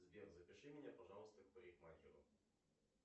сбер запиши меня пожалуйста к парикмахеру